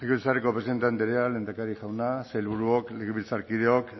eskerrik asko presidente andrea lehendakari jauna sailburuok legebiltzarkideok